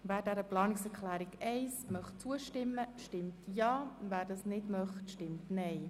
Wer dieser Planungserklärung zustimmt, stimmt Ja, wer dies nicht möchte, stimmt Nein.